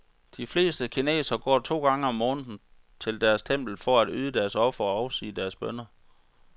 De fleste kinesere går to gange om måneden til deres tempel for at yde deres ofre og afsige deres bønner.